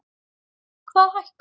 Hvað hækkar?